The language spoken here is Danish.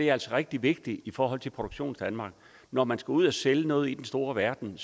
er altså rigtig vigtigt i forhold til produktionsdanmark når man skal ud at sælge noget i den store verden